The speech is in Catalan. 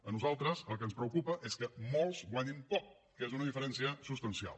a nosaltres el que ens preocupa és que molts guanyin poc que és una diferència substancial